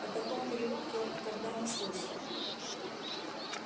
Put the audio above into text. о таком переулке он никогда не слышал